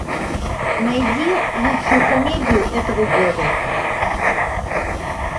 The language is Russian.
найди лучшую комедию этого года